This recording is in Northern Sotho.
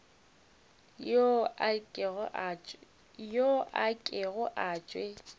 yo a kego a tšwe